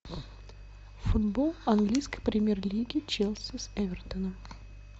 футбол английской премьер лиги челси с эвертоном